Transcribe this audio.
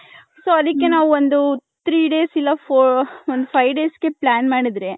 so ಅದಿಕೆ ನಾವು ಒಂದು three days ಇಲ್ಲ ಒಂದ್ five days ಗೆ plan ಮಾಡಿದ್ರೆ .